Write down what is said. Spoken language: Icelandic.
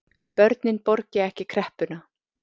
Börnin borgi ekki kreppuna